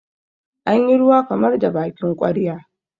an yi ruwa kamar da bakin ƙwarya